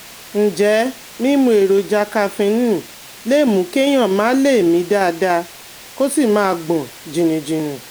Ǹjẹ́ mímu èròjà kaféènì lè mú kéèyàn má lè mí dáadáa, kó sì máa gbọ̀n jìnnìjìnnì?